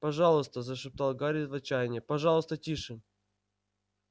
пожалуйста зашептал гарри в отчаянии пожалуйста тише